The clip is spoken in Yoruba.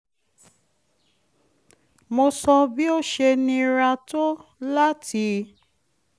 mo sọ bi ó ṣe nira tó láti